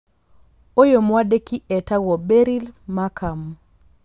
Ũyũ mwandĩki etagwo Beryl Markham.